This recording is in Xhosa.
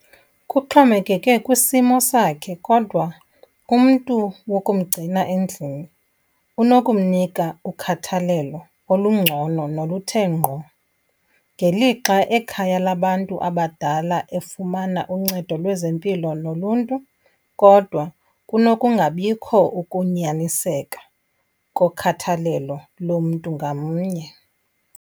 Kuxhomekeke kwisimo sakhe, kodwa umntu wokumgcina endlini unokumnika ukhathalelo olungcono noluthe ngqo. Ngelixa ekhaya labantu abadala efumana uncedo lwezempilo noluntu, kodwa kunokungabikho ukunyaniseka kokhathalelo lomntu ngamnye.